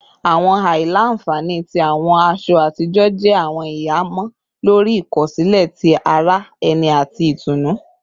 Awọn aila-nfani ti awọn aṣọ atijọ jẹ awọn ihamọ lori ikosile ti ara ẹni ati itunu